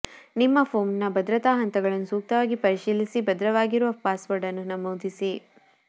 ನಿಮ್ಮ ಫೋನ್ನ ಭದ್ರತಾ ಹಂತಗಳನ್ನು ಸೂಕ್ತವಾಗಿ ಪರಿಶೀಲಿಸಿ ಭದ್ರವಾಗಿರುವ ಪಾಸ್ವರ್ಡ್ ಅನ್ನು ನಮೂದಿಸಿ